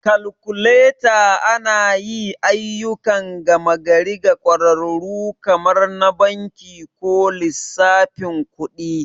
Kalkuleta anayi ayyukan gama gari ga ƙwararru kamar na banki ko lissafin kuɗi.